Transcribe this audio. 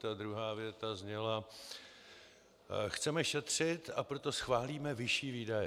Ta druhá věta zněla: Chceme šetřit, a proto schválíme vyšší výdaje.